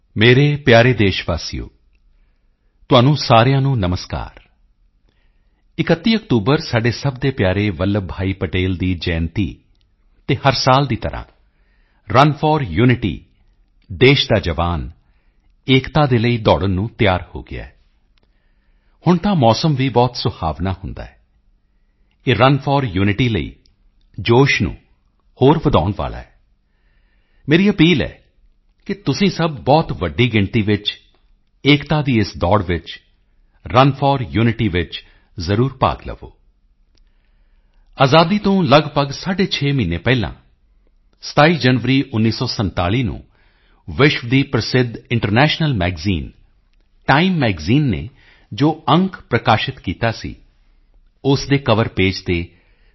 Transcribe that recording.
ਮੇਰੇ ਪਿਆਰੇ ਦੇਸ਼ ਵਾਸੀਓ ਤੁਹਾਨੂੰ ਸਾਰਿਆਂ ਨੂੰ ਨਮਸਕਾਰ 31 ਅਕਤੂਬਰ ਸਾਡੇ ਸਭ ਦੇ ਪਿਆਰੇ ਵੱਲਭ ਭਾਈ ਪਟੇਲ ਦੀ ਜਯੰਤੀ ਅਤੇ ਹਰ ਸਾਲ ਦੀ ਤਰ੍ਹਾਂ ਰਨ ਫੋਰ ਯੂਨਿਟੀ ਦੇਸ਼ ਦਾ ਜਵਾਨ ਏਕਤਾ ਦੇ ਲਈ ਦੌੜਨ ਨੂੰ ਤਿਆਰ ਹੋ ਗਿਆ ਹੈ ਹੁਣ ਤਾਂ ਮੌਸਮ ਵੀ ਬਹੁਤ ਸੁਹਾਵਣਾ ਹੁੰਦਾ ਹੈ ਇਹ ਰਨ ਫੋਰ ਯੂਨਿਟੀ ਲਈ ਜੋਸ਼ ਨੂੰ ਹੋਰ ਵਧਾਉਣ ਵਾਲਾ ਹੈ ਮੇਰੀ ਅਪੀਲ ਹੈ ਕਿ ਤੁਸੀਂ ਸਭ ਬਹੁਤ ਵੱਡੀ ਗਿਣਤੀ ਵਿੱਚ ਏਕਤਾ ਦੀ ਇਸ ਦੌੜ ਚ ਰਨ ਫੋਰ ਯੂਨਿਟੀ ਵਿੱਚ ਜ਼ਰੂਰ ਭਾਗ ਲਵੋ ਅਜ਼ਾਦੀ ਤੋਂ ਲਗਭਗ ਸਾਢੇ ਛੇ ਮਹੀਨੇ ਪਹਿਲਾਂ 27 ਜਨਵਰੀ 1947 ਨੂੰ ਵਿਸ਼ਵ ਦੀ ਪ੍ਰਸਿੱਧ ਇੰਟਰਨੈਸ਼ਨਲ ਮੈਗਜ਼ੀਨ ਟਾਈਮ ਮੈਗਜ਼ੀਨ ਨੇ ਜੋ ਅੰਕ ਪ੍ਰਕਾਸ਼ਿਤ ਕੀਤਾ ਸੀ ਉਸ ਦੇ ਕਵਰ ਪੇਜ ਤੇ ਸ